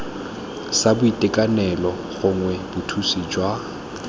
sa boitekanelo gongwe bothusi jwa